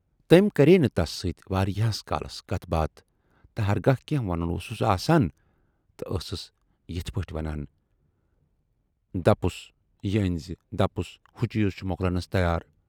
تمٔۍ کٔرییہِ نہٕ تَس سۭتۍ واریاہس کالس کتھ باتھ تہٕ ہرگاہ کینہہ ونُن اوسُس آسان تہٕ ٲسٕس یِتھٕ پٲٹھۍ ونان دپُس یہِ ٲنۍزِ، دپُس ہُہ چیٖز چھُ مۅکلنَس تیار